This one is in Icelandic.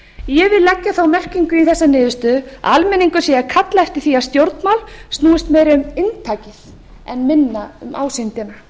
ég vil leggja þá merkingu í þessa niðurstöðu að almenningur sé að kalla eftir því að stjórnmál snúist meira um inntakið en minna um ásýndina